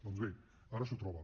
doncs bé ara s’ho troba